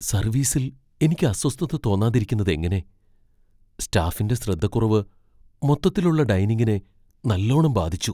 സർവീസ്സിൽ എനിക്ക് അസ്വസ്ഥത തോന്നാതിരിക്കുന്നതെങ്ങനെ? സ്റ്റാഫിന്റെ ശ്രദ്ധക്കുറവ് മൊത്തത്തിലുള്ള ഡൈനിംഗിനെ നല്ലോണം ബാധിച്ചു.